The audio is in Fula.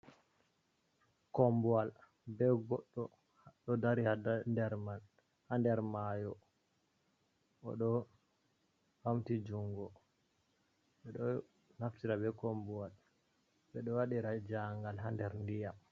Kombuwal ɓe goɗɗo ɗo dari ha nder man ha nder mayo, oɗo ɓamti jungo ɓeɗo naftira be kombuwal ɓe ɗo waɗira jahan gal ha nder ndiyam.